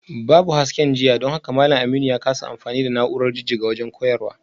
Babu hasken jiya don haka malam Aminu ya kasa amfani da na’urar jijjiga wajen koyarwa